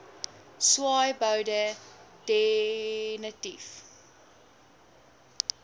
swaaiboude de nitief